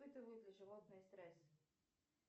испытывают ли животные стресс